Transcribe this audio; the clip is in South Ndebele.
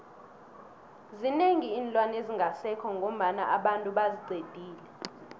zinengi iinlwana ezingasekho ngoba abantu baziqedile